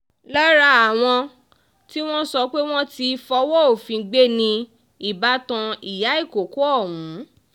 lára àwọn tí wọ́n sọ pé wọ́n ti fọwọ́ òfin gbé ni ìbátan ìyá ìkọ̀kọ̀ ọ̀hún